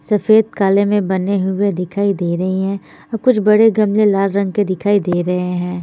सफ़ेद काले में बने हुए दिखाई दे रहे है कुछ बड़े गमले लाल रंग के दिखाई दे रहे है।